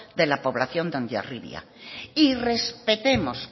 de la población de hondarribia y respetemos